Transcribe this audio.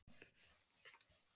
Ekki frá því kyn